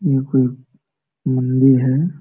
ये कोई मंदिर है ।